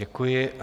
Děkuji.